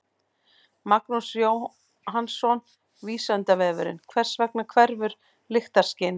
Magnús Jóhannsson: Vísindavefurinn: Hvers vegna hverfur lyktarskynið?